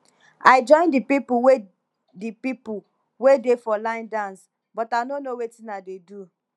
i join the people wey the people wey dey for line dance but i no know wetin i dey do